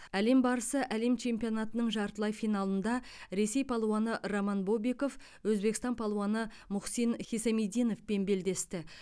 әлем барысы әлем чемпионатының жартылай финалында ресей палуаны роман бобиков өзбекстан палуаны мухсин хисамиддиновпен белдесті